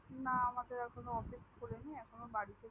না এখন ও আমাদের office খুলিনি এখন বাড়িতে